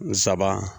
Nsaban